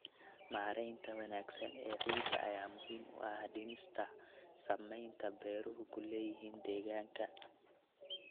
Maareynta wanaagsan ee ciidda ayaa muhiim u ah dhimista saameynta beeruhu ku leeyihiin deegaanka.